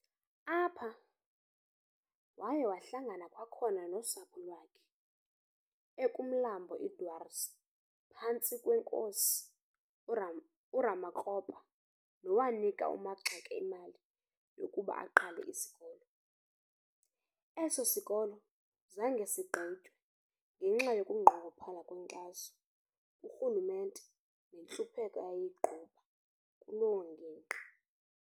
Apha, waya wahlangana kwakhona nosapho lwakhe ekumlambo iDwaars phantsi kweNkosi uRamakgopa nowanika uMaxeke imali yokuba aqale isikolo. Eso sikolo zange sigqitywe ngenxa yokunqongophala kwenkxaso kurhulumente nentlupheko eyayigquba kulo ngingqi.